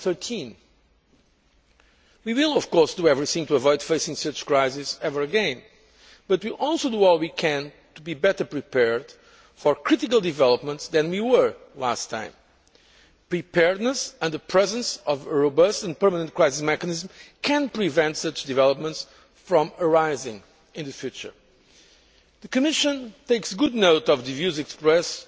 2013. We will do everything to avoid facing such crises ever again, but we will also do all we can to be better prepared for critical developments than we were last time. Preparedness and the presence of a robust and permanent crisis mechanism can prevent such developments from arising in the future. The Commission takes good note of the views expressed